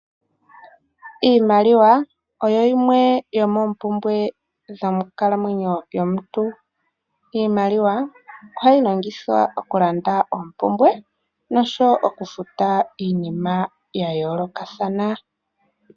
Iimaliwa oyo yimwe yomoompumbwe dhonkalamwenyo yomuntu. Iimaliwa ohayi longithwa okulanda oompumbwe nosho wo okufuta iinima ya yoolokathana.